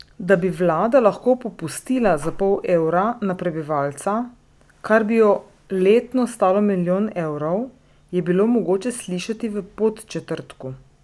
Da bi vlada lahko popustila za pol evra na prebivalca, kar bi jo letno stalo milijon evrov, je bilo mogoče slišati v Podčetrtku.